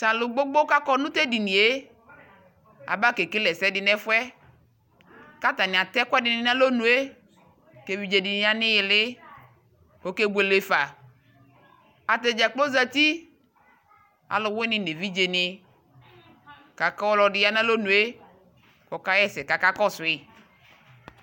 Tʋ alʋ gbogbo kakɔ nʋ tʋ edini yɛ aba kekele ɛsɛdi nʋ ɛfuɛ kʋ atani atɛ ɛkʋɛdi ni nʋ alɔnue kʋ evidze di ni yanʋ iyili kʋ ɔkebuele fa Atadza kplo zati, alʋwini nʋ evidze ni kʋ aka kʋ ɔlɔdi ya nʋ alɔnue kɔka ɣɛsɛ kakakɔsʋ yi